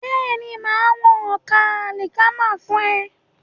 Bẹ́ẹ̀ni, màá wọn ọkà àlìkámà fún ẹ.